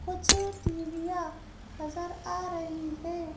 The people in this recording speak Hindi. कुछ दीवियाँ नजर आ रही है।